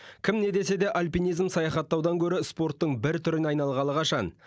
кім не десе де альпинизм саяхаттаудан гөрі спорттың бір түріне айналғалы қашан